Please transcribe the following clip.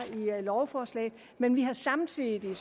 i lovforslaget men vi har samtidig